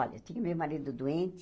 Olha, tinha o meu marido doente.